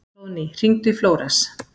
Hróðný, hringdu í Flóres.